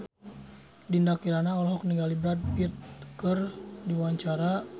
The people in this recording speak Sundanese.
Dinda Kirana olohok ningali Brad Pitt keur diwawancara